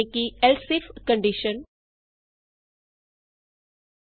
else if condition else IF statement easy